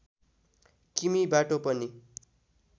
किमि बाटो पनि